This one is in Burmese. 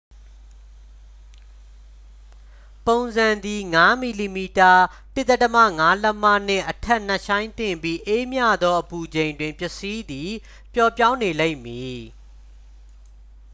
ပုံစံသည် ၅ mm ၁/၅ လက်မ နှင့်အထက် နက်ရှိုင်းသင့်ပြီး အေးမြသောအပူချိန်တွင် ပစ္စည်းသည် ပျော့ပြောင်းနေလိမ့်မည်။